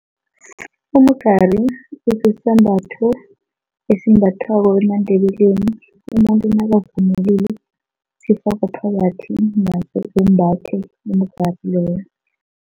Umgari kusisambatho esimbathwako emaNdebeleni umuntu nakavunulile, sifakwa phakathi simbathwe